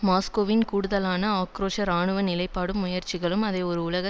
மாஸ்கோவின் கூடுதலான ஆக்கிரோஷ இராணுவ நிலைப்பாடும் முயற்சிகளும் அதை ஒரு உலக